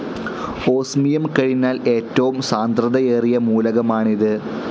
Osmium കഴിഞ്ഞാൽ ഏറ്റവും സാന്ദ്രതയേറിയ മൂലകമാണിത്.